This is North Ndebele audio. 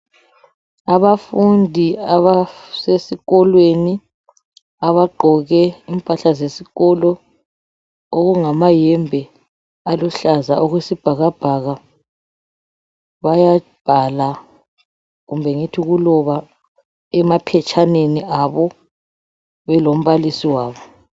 Abafundi abasesikolweni abagqoke impahla zesikolo okungamayembe aluhlaza okwesibhakabhaka bayabhala kumbe ngithi ukuloba emaphetshaneni abo belombalisi wabo.